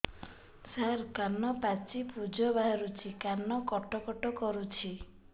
ସାର କାନ ପାଚି ପୂଜ ବାହାରୁଛି କାନ କଟ କଟ କରୁଛି